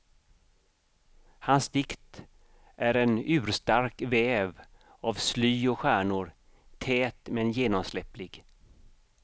Hans dikt är en urstark väv av sly och stjärnor, tät men genomsläpplig.